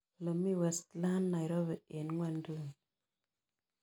Olemi westlands nairobi eng' ng'wonyduni